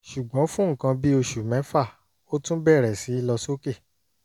ṣùgbọ́n fún nǹkan bí oṣù mẹ́fà ó tún bẹ̀rẹ̀ sí lọ sókè